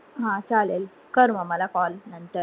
हा चालेले, कर म मला call नंतर